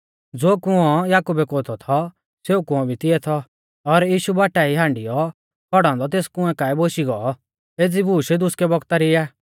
ज़ो कुंऔ याकुबै कोतौ थौ सेऊ कुंऔ भी तिऐ थौ और यीशु बाटा ई हांडियौ खौड़ौ औन्दौ तेस कुंऐ काऐ बोशी गौ एज़ी बूश दुसकै बौगता री आ